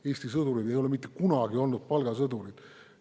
Eesti sõdurid ei ole mitte kunagi olnud palgasõdurid.